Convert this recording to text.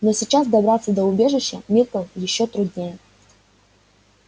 но сейчас добраться до убежища миртл ещё труднее